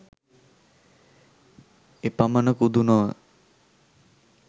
එපමණකුදු නොව